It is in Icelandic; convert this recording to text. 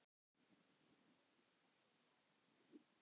Hvernig líkaði þér í náminu?